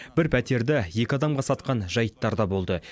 бір пәтерді екі адамға сатқан жайттар да болды